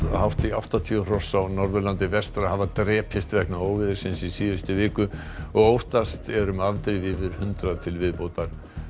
hátt í áttatíu hross á Norðurlandi vestra hafa drepist vegna óveðursins í síðustu viku og óttast er um afdrif yfir hundrað til viðbótar